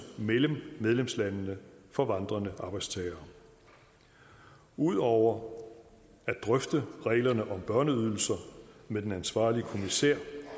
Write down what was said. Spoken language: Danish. mellem medlemslandene for vandrende arbejdstagere ud over at drøfte reglerne om børneydelser med den ansvarlige kommissær